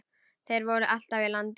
Þeir voru alltaf í landi.